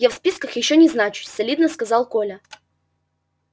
я в списках ещё не значусь солидно сказал коля